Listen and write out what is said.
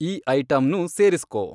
ಈ ಐಟಂನೂ ಸೇರಿಸ್ಕೊ